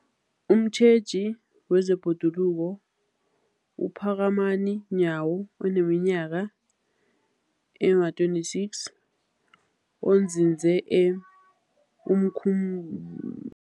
Umtjheji wezeBhoduluko uPhakamani Nyawo oneminyaka ema-26, onzinze e-Umkhum